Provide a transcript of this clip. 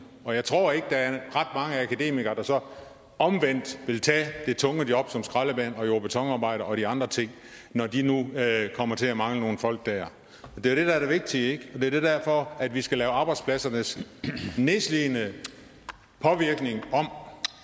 og jeg tror ikke der er ret mange akademikere der så omvendt vil tage det tunge job som skraldemand jord og betonarbejder og de andre ting når de nu kommer til at mangle nogle folk der det er det der er det vigtige ikke og det er derfor vi skal lave arbejdspladsernes nedslidende påvirkning om